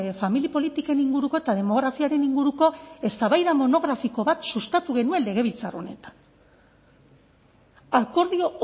familia politiken inguruko eta demografiaren inguruko eztabaida monografiko bat sustatu genuen legebiltzar honetan akordio